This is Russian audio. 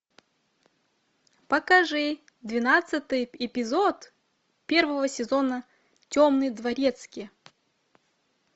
покажи двенадцатый эпизод первого сезона темный дворецкий